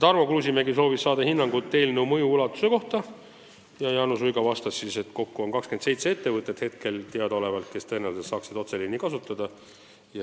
Tarmo Kruusimäe soovis saada hinnangut eelnõu mõju ulatuse kohta ja Jaanus Uiga vastas, et kokku on praegu teada 27 ettevõtet, kes tõenäoliselt saaksid otseliini kasutada.